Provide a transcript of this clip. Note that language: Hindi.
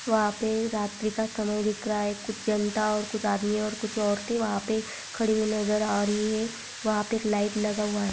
वहाँ पे रात्रि का समय दिख रहा है कुछ जनता कुछ आदमी कुछ औरतें वहाँ पर खड़ी हुई नज़र आ रही है वहाँ पर एक लाइट लगा हुआ है।